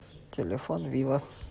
телефон вива